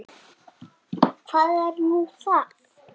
Og hvað er nú það?